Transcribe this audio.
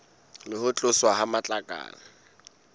le ho tloswa ha matlakala